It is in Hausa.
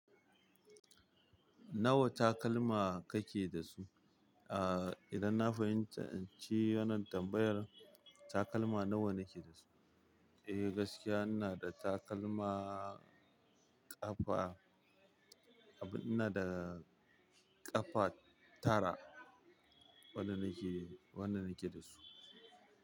Nawa takalma kake da su? Ah, idan na fahimci wannan tambayar takalma nawa nake da su? Eh gaskiya ina da takalma ƙafa, ina da ƙafa tara. Wanda nake, wanda nake da su.